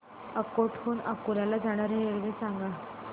अकोट हून अकोला ला जाणारी रेल्वे सांग